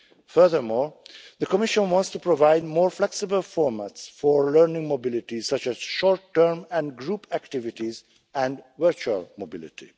Furthermore, the Commission wants to provide more flexible formats for learning mobility, such as short term and group activities and virtual mobility.